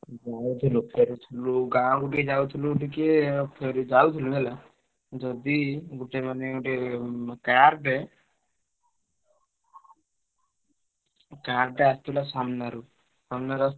ବହୁତ୍ ରେ ଥିଲୁ ଗାଁକୁ ଟିକେ ଯାଉଥିଲୁ ଟିକେ ଫେରୁ ଯାଉଥିଲୁ ହେଲା। ଯଦି ଗୋଟେ ମାନେ ଗୋଟେ ଉଁ car ଟେ car ଟେ ଆସୁଥିଲା ସାମ୍ନାରୁ। ସାମ୍ନାରୁ,